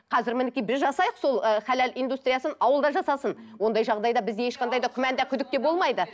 қазір мінекей біз жасайық сол ы халал индустриясын ауыл да жасасын ондай жағдайда бізде ешқандай да күмән де күдік те болмайды